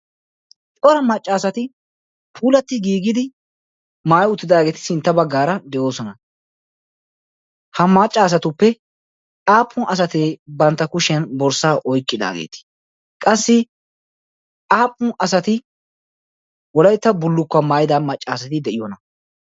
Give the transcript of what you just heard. cora maccaasati puulatti giigidi maayi uttidaageeti sintta baggaara de7oosona. ha maccaasatuppe aapun asati bantta kushiyan borssaa oiqqidaageete? qassi aappun asati wolaitta bullukkuwaa maayida maccaasati de7iyoona?